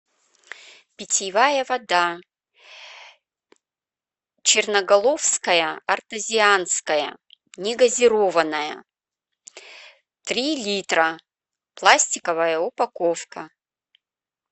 питьевая вода черноголовская артезианская негазированная три литра пластиковая упаковка